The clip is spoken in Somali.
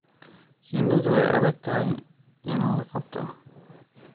Shinnidu way adag tahay in la qabto.